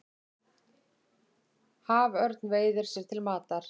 Haförn veiðir sér til matar.